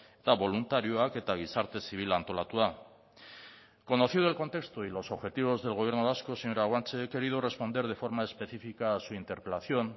eta boluntarioak eta gizarte zibil antolatua conocido el contexto y los objetivos del gobierno vasco señora guanche he querido responder de forma específica a su interpelación